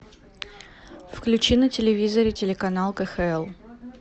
включи на телевизоре телеканал кхл